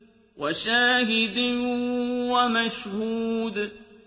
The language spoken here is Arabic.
وَشَاهِدٍ وَمَشْهُودٍ